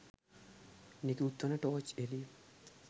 නිකුත් වන ටෝච් එළිය